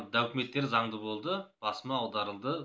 документтері заңды болды басыма аударылды